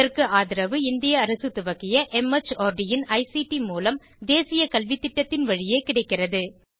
இதற்கு ஆதரவு இந்திய அரசு துவக்கிய மார்ட் இன் ஐசிடி மூலம் தேசிய கல்வித்திட்டத்தின் வழியே கிடைக்கிறது